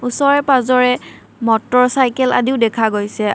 ওচৰে-পাজৰে motorcycle আদিও দেখা গৈছে।